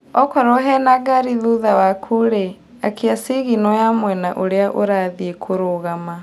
Okorwo hena ngari thutha wakurĩ, akia cigino ya mwena ũria ũrathiĩ kũrũgama.